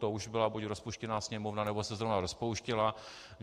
To už byla buď rozpuštěná Sněmovna, nebo se zrovna rozpouštěla.